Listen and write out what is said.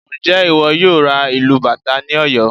Ǹjẹ́ ìwọ yóò ra ìlù bàtá ní Ọ̀yọ́?